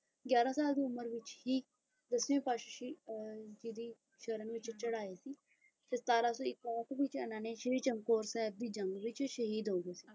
ਗਿਆਰਾਂ ਸਾਲ ਦੀ ਉਮਰ ਵਿੱਚ ਹੀ ਦਸਵੀਂ ਪਾਤਸ਼ਾਹੀ ਅਹ ਜੀ ਦੀ ਸ਼ਰਨ ਵਿੱਚ ਚੜਾਏ ਸੀ ਤੇ ਸਤਾਰਾਂ ਸੌ ਇਕਾਹਠ ਵਿੱਚ ਇਹਨਾਂ ਨੇ ਸ਼੍ਰੀ ਚਮਕੌਰ ਸਾਹਿਬ ਦੀ ਜੰਗ ਵਿੱਚ ਸ਼ਹੀਦ ਹੋ ਗਏ ਸੀ।